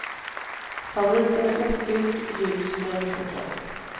Favoriten är ofylld, ljus mjölkchoklad.